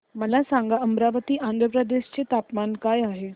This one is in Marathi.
मला सांगा अमरावती आंध्र प्रदेश चे तापमान काय आहे